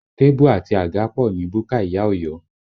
Tébù àti àga pọ̀ ní búkà ìyá Ọ̀yọ́